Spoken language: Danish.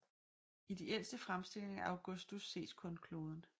I de ældste fremstillinger af Augustus ses kun kloden